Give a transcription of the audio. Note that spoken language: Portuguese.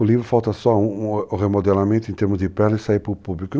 O livro falta só um um remodelamento em termos de pele e sair para o público.